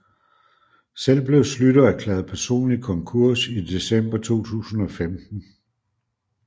Selv blev Schlüter erklæret personlig konkurs i december 2015